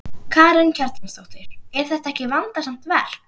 Karen Kjartansdóttir: Er þetta ekki vandasamt verk?